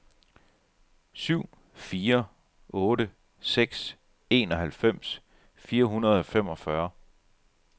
syv fire otte seks enoghalvfems fire hundrede og femogfyrre